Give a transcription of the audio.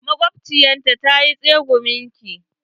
Maƙwabciyata ta yi tsegumin ki.